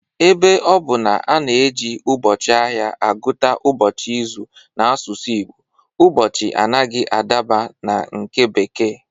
Ebe ọ bụ na a na-eji ụbọchị ahịa agụta ụbọchị izu n'asụsụ Igbo, ụbọchị anaghị adaba na nke bekee